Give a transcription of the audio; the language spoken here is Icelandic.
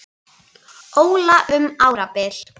Óla um árabil.